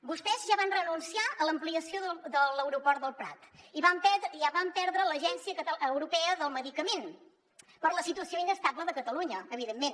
vostès ja van renunciar a l’ampliació de l’aeroport del prat ja van perdre l’agència europea del medicament per la situació inestable de catalunya evidentment